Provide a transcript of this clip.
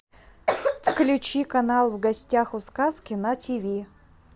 включи канал в гостях у сказки на тв